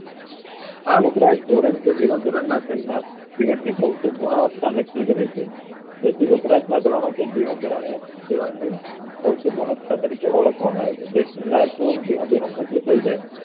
આ વપરાશ ધોરણ કે જીવન ધોરણ ના તેમના ની ભૌતિક ગુણવતા નાકકી કરે છે તેથી વપરાશ ના ધોરણો થી કે જીવન ધોરણઓ જીવન ની ભૌતિક ગુણવત્તા તરીકે ઓળખવામાં આવે છે જેથી માણસોનું જીવન ધોરણ ઉચ્ચું થાય જાય